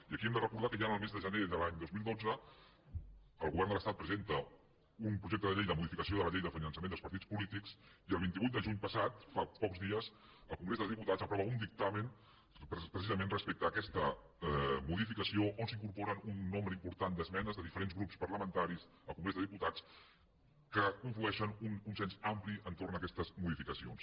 i aquí hem de recordar que ja el mes de gener de l’any dos mil dotze el govern de l’estat presenta un projecte de llei de modificació de la llei de finançament dels partits polítics i el vint vuit de juny passat fa pocs dies el congrés dels diputats aprova un dictamen precisament respecte a aquesta modificació on s’incorporen un nombre important d’esmenes de diferents grups parlamentaris al congrés dels diputats que conflueixen en un consens ampli entorn d’aquestes modificacions